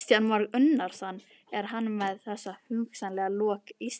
Kristján Már Unnarsson: Er hann með þessu hugsanlega að lokka Íslendinga inn?